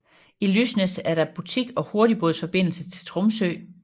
I Lysnes er der butik og hurtigbådsforbindelse til Tromsø